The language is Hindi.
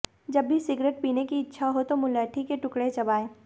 जब भी सिगरेट पीने की इच्छा हो मुलैठी के टुकड़े चबाएं